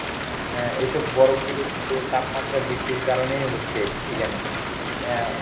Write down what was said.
আহ এইসব বরফগুলো কিন্তু এই তাপমাত্রা বৃদ্ধির কারনেই হচ্ছে ইদানীং। অ্যাঁ